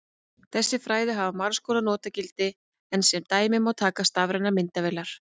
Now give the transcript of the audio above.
Þessi fræði hafa margs konar notagildi en sem dæmi má taka stafrænar myndavélar.